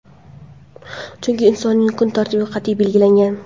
chunki insonning kun tartibi qat’iy belgilangan.